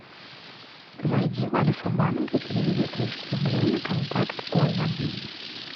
зайди в альфа банк и переведи триста рублей на контакт оля